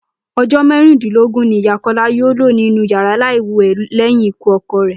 O̩jó̩ márùndínlógún ni Ìyá Kó̩lá yóò lò nínú yàrá láì wè̩ lé̩yìn ikú o̩ko̩ rè̩